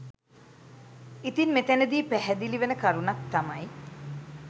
ඉතින් මෙතැනදී පැහැදිලි වන කරුණක් තමයි